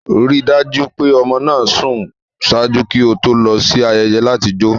Rii daju pe ọmọ naa sùn ṣaaju ki o to lọ si ayẹyẹ lati jo